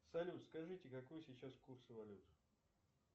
салют скажите какой сейчас курс валют